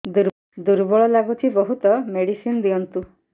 ଦୁର୍ବଳ ଲାଗୁଚି ବହୁତ ମେଡିସିନ ଦିଅନ୍ତୁ